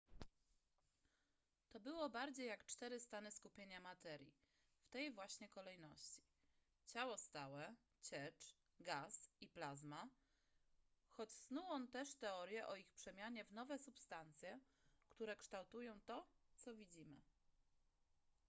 to było bardziej jak cztery stany skupienia materii w tej właśnie kolejności: ciało stałe ciecz gaz i plazma choć snuł on też teorie o ich przemianie w nowe substancje które kształtują to co widzimy